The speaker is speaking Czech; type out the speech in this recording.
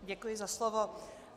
Děkuji za slovo.